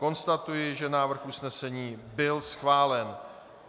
Konstatuji, že návrh usnesení byl schválen.